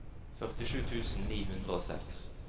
førtisju tusen ni hundre og seks